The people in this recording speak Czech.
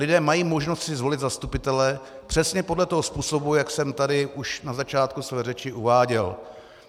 Lidé mají možnost si zvolit zastupitele přesně podle toho způsobu, jak jsem tady už na začátku své řeči uváděl.